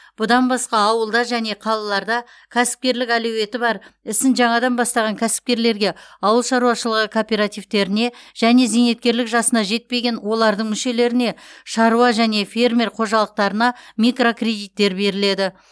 бұдан басқа ауылда және қалаларда кәсіпкерлік әлеуеті бар ісін жаңадан бастаған кәсіпкерлерге ауыл шаруашылығы кооперативтеріне және зейнеткерлік жасына жетпеген олардың мүшелеріне шаруа және фермер қожалықтарына микрокредиттер беріледі